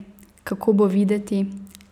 Kako bo videti?